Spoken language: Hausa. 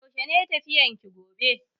Yaushe ne tafiyan ki gobe?